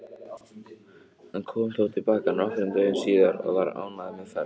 Hann kom þó til baka nokkrum dögum síðar og var ánægður með ferðina.